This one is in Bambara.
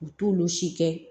U t'olu si kɛ